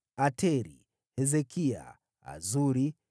Ateri, Hezekia, Azuri,